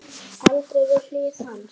Andrea við hlið hans.